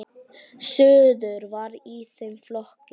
Suður var í þeim flokki.